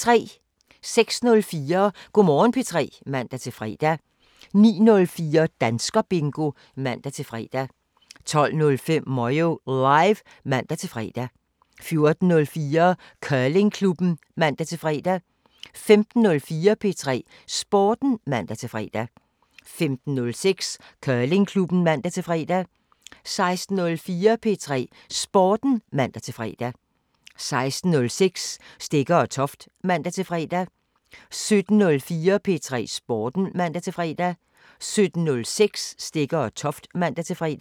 06:04: Go' Morgen P3 (man-fre) 09:04: Danskerbingo (man-fre) 12:05: Moyo Live (man-fre) 14:04: Curlingklubben (man-fre) 15:04: P3 Sporten (man-fre) 15:06: Curlingklubben (man-fre) 16:04: P3 Sporten (man-fre) 16:06: Stegger & Toft (man-fre) 17:04: P3 Sporten (man-fre) 17:06: Stegger & Toft (man-fre)